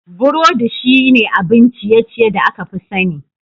Burodi shine abin ciye-ciye da aka fi sani.